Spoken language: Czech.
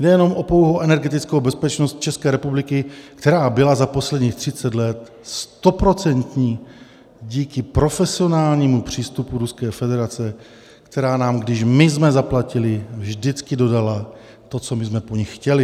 Jde jen o pouhou energetickou bezpečnost České republiky, která byla za posledních 30 let stoprocentní díky profesionálnímu přístupu Ruské federace, která nám, když my jsme zaplatili, vždycky dodala to, co my jsme po nich chtěli.